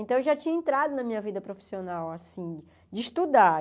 Então, eu já tinha entrado na minha vida profissional, assim, de estudar.